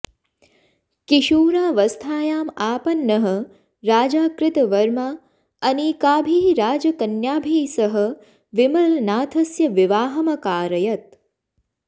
किशोरावस्थायामापन्नः राजा कृतवर्मा अनेकाभिः राजकन्याभिः सह विमलनाथस्य विवाहम् अकारयत्